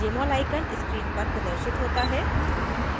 jmol icon screen पर प्रदर्शित होता है